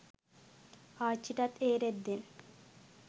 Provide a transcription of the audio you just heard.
ආච්ච්ටත් ඒ රෙද්දෙන්